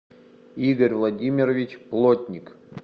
игорь владимирович плотник